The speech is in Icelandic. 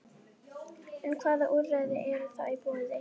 En hvaða úrræði eru þá í boði?